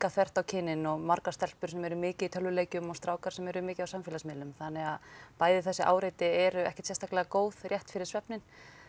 þvert á kynin og margar stelpur sem eru mikið í tölvuleikjum og strákar sem eru mikið á samfélagsmiðlum þannig að bæði þessi áreiti eru ekkert sérstaklega góð rétt fyrir svefninn